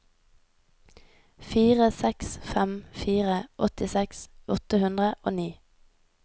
fire seks fem fire åttiseks åtte hundre og ni